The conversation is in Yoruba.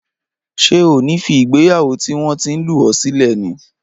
Ṣé o ní fí ìgbéyàwó tí wọn tin lù ọ sílẹ ní?